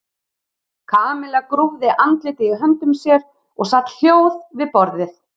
Kamilla grúfði andlitið í höndum sér og sat hljóð við borðið.